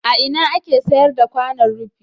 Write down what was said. A ina ake sayar da kwanon rufi?